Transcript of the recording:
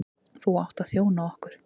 Þú átt að þjóna okkur.